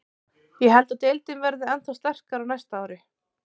Ég held að deildin verði ennþá sterkari á næsta ári.